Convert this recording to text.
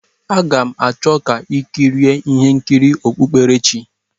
A ga m achọ ka i kirie ihe nkiri okpukperechi a.